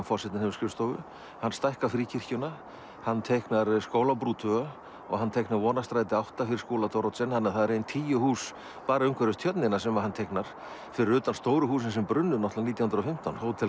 forsetinn hefur skrifstofu hann stækkar Fríkirkjuna hann teiknar Skólabrú tvo og hann teiknar Vonarstræti átta fyrir Skúla Thoroddsen þannig að það eru ein tíu hús bara umhverfis tjörnina sem hann teiknar fyrir utan stóru húsin sem brunnu náttúrulega nítján hundruð og fimmtán Hótel